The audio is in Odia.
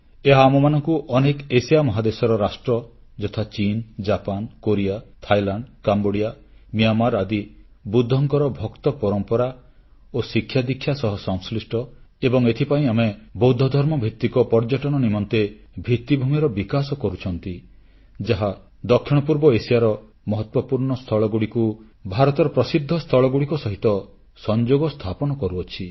ଏହା ଆମମାନଙ୍କୁ ଅନେକ ଏସିଆ ମହାଦେଶର ରାଷ୍ଟ୍ର ଯଥାଚୀନ Japan Korea Thailand Cambodia Myanmar ଆଦି ବୁଦ୍ଧଙ୍କର ଭକ୍ତ ପରମ୍ପରା ଓ ଶିକ୍ଷାଦୀକ୍ଷା ସହ ସଂଶ୍ଲିଷ୍ଟ ଏବଂ ଏଇଥିପାଇଁ ଆମେ ବୌଦ୍ଧଧର୍ମଭିତ୍ତିକ ପର୍ଯ୍ୟଟନ ନିମନ୍ତେ ଭିତ୍ତିଭୂମିର ବିକାଶ କରୁଛନ୍ତି ଯାହା ଦକ୍ଷିଣପୂର୍ବ ଏସିଆର ମହତ୍ୱପୂର୍ଣ୍ଣ ସ୍ଥଳଗୁଡ଼ିକୁ ଭାରତର ସ୍ଥଳଗୁଡ଼ିକ ସହିତ ସଂଯୋଗ ସ୍ଥାପନ କରୁଅଛି